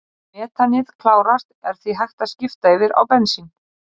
Þegar metanið klárast er því hægt að skipta yfir á bensín.